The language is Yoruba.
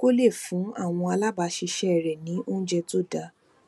kó lè fún àwọn alabaaṣiṣẹ rẹ ní oúnjẹ tó dára